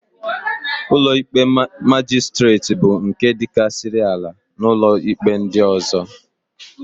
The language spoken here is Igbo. Ụlọikpe Majistret bụ nke dịkarịsịrị ala n'ụlọikpe ndị ọ̀zọ́.